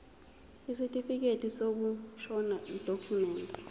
isitifikedi sokushona yidokhumende